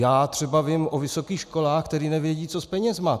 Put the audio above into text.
Já třeba vím o vysokých školách, které nevědí, co s penězi.